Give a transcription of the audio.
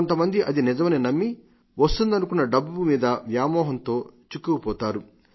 కొంతమంది అది నిజమని నమ్మి వస్తుందనుకున్న డబ్బు మీద వ్యామోహంతో చిక్కుకుపోతారు